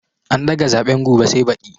An daga zaɓen gobe sai baɗi